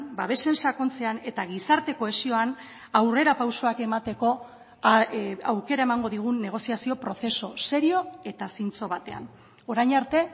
babesen sakontzean eta gizarte kohesioan aurrerapausoak emateko aukera emango digun negoziazio prozesu serio eta zintzo batean orain arte